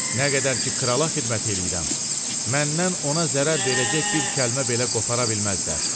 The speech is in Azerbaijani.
Nə qədər ki, krala xidmət eləyirəm, məndən ona zərər verəcək bir kəlmə belə qopara bilməzlər.